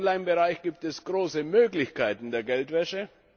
Gerade im Online Bereich gibt es große Möglichkeiten der Geldwäsche.